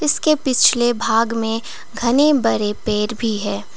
इसके पिछले भाग में घने बरे पेड़ भी है।